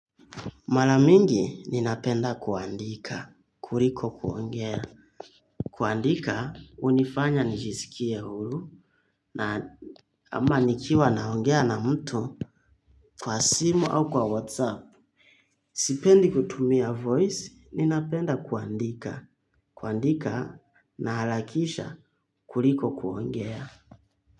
Mara mingi ninapenda kuandika, kuliko kuongea. Kuandika hunifanya nijisikie huru na ama nikiwa naongea na mtu kwa simu au kwa whatsapp. Sipendi kutumia voice ninapenda kuandika, kuandika naharakisha kuliko kuongea.